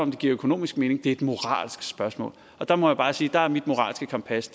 det giver økonomisk mening det er et moralsk spørgsmål og der må jeg bare sige at mit moralske kompas